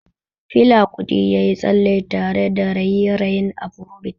Fela Kuti ya yi tsalle tare da raye-rayen afrobeat.